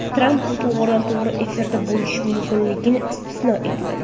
Tramp bu to‘g‘ridan to‘g‘ri efirda bo‘lishi mumkinligini istisno etmadi.